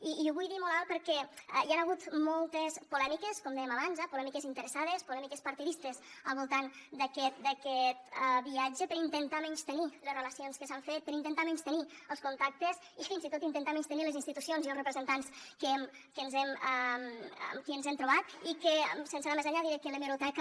i ho vull dir molt alt perquè hi han hagut moltes polèmiques com dèiem abans polèmiques interessades polèmiques partidistes al voltant d’aquest viatge per intentar menystenir les relacions que s’han fet per intentar menystenir els contactes i fins i tot intentar menystenir les institucions i els representants amb qui ens hem trobat i que sense anar més enllà diré que l’hemeroteca